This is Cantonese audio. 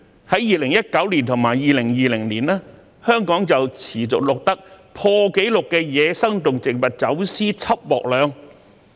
在2019年和2020年，香港持續錄得破紀錄的野生動植物走私緝獲量。